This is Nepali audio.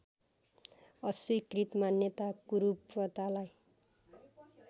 अस्वीकृत मान्यता कुरूपतालाई